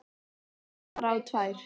Rakst bara á tvær.